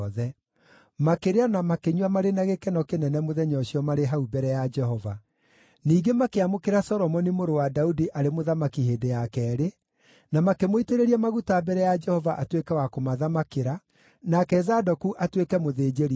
Makĩrĩa na makĩnyua marĩ na gĩkeno kĩnene mũthenya ũcio marĩ hau mbere ya Jehova. Ningĩ makĩamũkĩra Solomoni mũrũ wa Daudi arĩ mũthamaki hĩndĩ ya keerĩ, na makĩmũitĩrĩria maguta mbere ya Jehova atuĩke wa kũmathamakĩra, nake Zadoku atuĩke mũthĩnjĩri-Ngai.